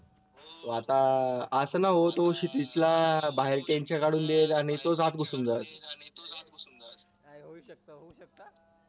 तो आता असं नव्ह तो सिटीतला काढून देईल आणि तोच आत घुसून जाईल